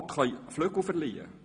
Worte können Flügel verleihen.